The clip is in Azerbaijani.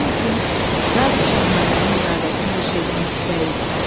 Onun üçün Zati Şahanənin iradəsi hər şeydən yüksək idi.